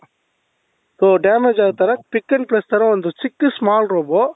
ಅದು damage ಆಗ್ತಾರೆ pick and press ತರ ಒಂದು ಚಿಕ್ಕ small robot